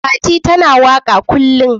Fati ta na waka kullun.